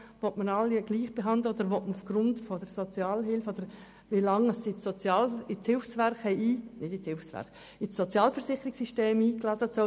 Will man alle gleich behandeln oder soll die Verweildauer in der Sozialhilfe im Sozialversicherungssystem neu ein Faktor sein?